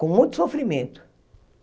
Com muito sofrimento.